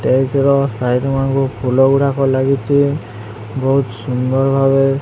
Side ମାନଙ୍କୁ ଫୁଲ ଗୁଡ଼ାକ ଲାଗିଚି ବହୁତ ସୁନ୍ଦର ଭାବେ।